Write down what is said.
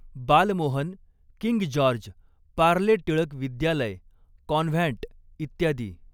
Balmohan, King George, Parle Tilak विद्यालय, convent, इत्यादी.